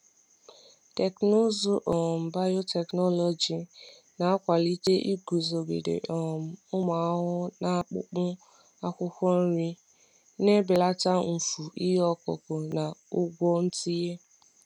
Teknụzụ um biotechnology na-akwalite iguzogide um ụmụ ahụhụ n’akpụkpọ akwụkwọ nri, na-ebelata mfu ihe ọkụkụ na ụgwọ ntinye.